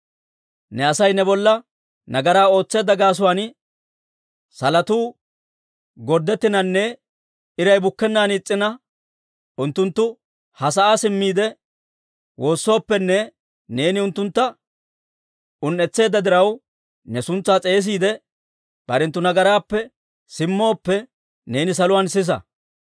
«Ne Asay ne bolla nagaraa ootseedda gaasuwaan salotuu gorddettinanne iray bukkennaan is's'ina, unttunttu ha sa'aa simmiide, woossooppenne neeni unttuntta un"etseedda diraw ne suntsaa s'eesiide, barenttu nagaraappe simmooppe, neeni saluwaan sisa.